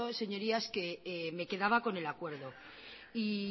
señorías que me quedaba con el acuerdo y